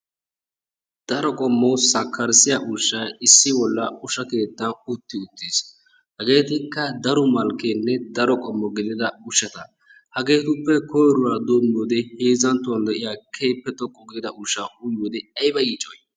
Daro qommo sakkarissiya ushay issi bolla usha keettan utti uttiis. Hageetikka daro malkkeenne daro qommo ushata hageetuppe koyrora doommiyowode heezanttuwan de'iya keehippe xoqqu giida ushshaa uyiyode ay yiiccoyiy